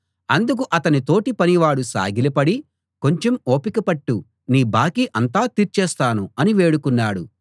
అందుకు అతని తోటి పనివాడు సాగిలపడి కొంచెం ఓపిక పట్టు నీ బాకీ అంతా తీర్చేస్తాను అని వేడుకున్నాడు